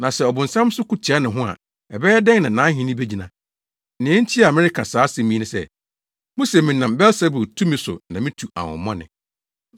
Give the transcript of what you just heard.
Na sɛ ɔbonsam nso ko tia ne ho a, ɛbɛyɛ dɛn na nʼahenni begyina? Nea enti a mereka saa asɛm yi ne sɛ, muse menam Beelsebul tumi so na mitu ahonhommɔne.